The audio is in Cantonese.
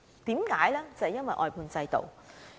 便是因為外判制度。